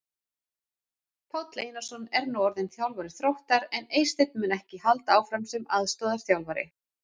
Páll Einarsson er nú orðinn þjálfari Þróttar en Eysteinn mun ekki halda áfram sem aðstoðarþjálfari.